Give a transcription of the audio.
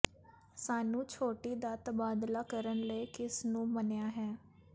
ਸਾਨੂੰ ਛੋਟੀ ਦਾ ਤਬਾਦਲਾ ਕਰਨ ਲਈ ਕਿਸ ਨੂੰ ਮੰਨਿਆ ਹੈ